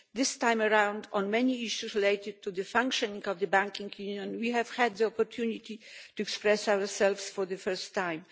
This time around, on many issues related to the functioning of the Banking Union, we have had the opportunity to express ourselves for the first time.